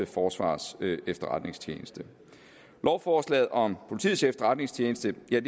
forsvarets efterretningstjeneste lovforslaget om politiets efterretningstjeneste er